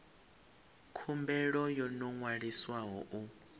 khumbelo yo no ṅwaliswaho u